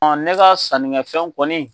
Ne ka sannikɛfɛnw kɔni